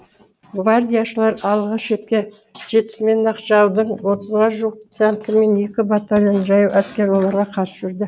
гвардияшылар алғы шепке жетісімен ақ жаудың отызға жуық танкі мен екі батальон жаяу әскері оларға қарсы жүрді